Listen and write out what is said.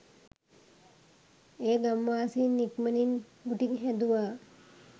ඒ ගම්වාසීන් ඉක්මණින් කුටි හැදුවා.